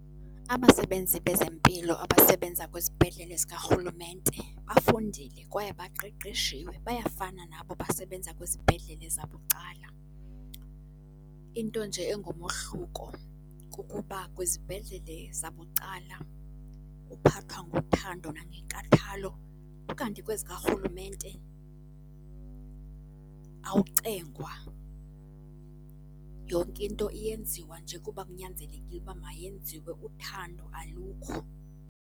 Abasebenzi bezempilo abasebenza kwizibhedlele zikarhulumente bafundile kwaye baqeqeshiwe. Bayafana nabo abasebenza kwizibhedlele zabucala. Into nje engumohluko kukuba kwizibhedlele zabucala uphathwa ngothando nangenkathalo, ukanti kwezikarhulumente awucengwa. Yonke into eyenziwa nje kuba kunyanzelekile uba mayenziwe, uthando alukho.